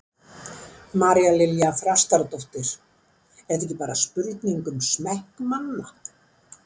María Lilja Þrastardóttir: Er þetta ekki bara spurning um smekk manna?